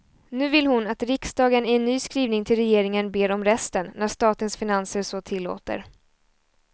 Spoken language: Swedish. Nu vill hon att riksdagen i en ny skrivning till regeringen ber om resten, när statens finanser så tillåter.